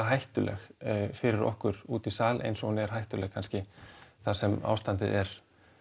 hættuleg fyrir okkur úti í sal eins og hún er hættuleg kannski þar sem ástandið er